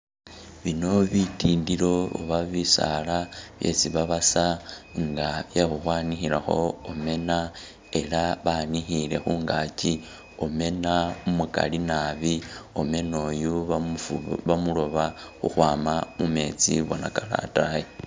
Bino bitindilo oba bisaala isi babasa nga bye khu khwanikhilakho omena ela nga banikhile khungaki omena umukali nabi, omena oyu bamufo bamulooba kukhwama mumetsi bona kali atayi